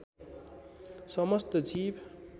समस्त जीव